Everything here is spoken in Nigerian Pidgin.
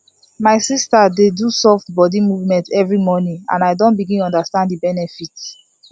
my sister dey do soft body movement every morning and i don begin understand the benefit